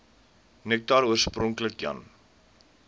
nektar oorspronklik jan